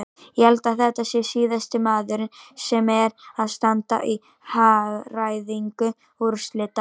Ég held að þetta sé síðasti maðurinn sem er að standa í hagræðingu úrslita.